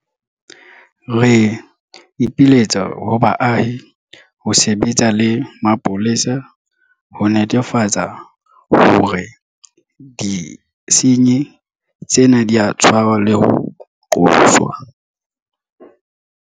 Re ipiletsa ho baahi ho sebetsa le mapolesa ho netefatsa hore disenyi tsena di a tshwarwa le ho qoswa.